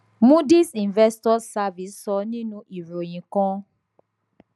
moodys investors service sọ nínú ìròyìn kan